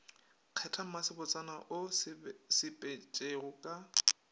kgetha mmasebotsana o sepetšego ka